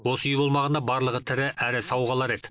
осы үй болмағанда барлығы тірі әрі сау қалар еді